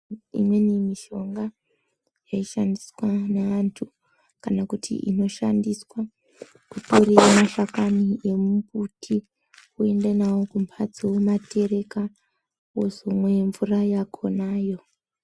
Imweni mishonga yaishandiswa ngeantu kana kuti inoshandiswa, kupurire mashakani emumbuti woende nawo kumhatso womatereka wozomwa mvura yakonayo.